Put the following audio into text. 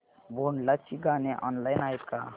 भोंडला ची गाणी ऑनलाइन आहेत का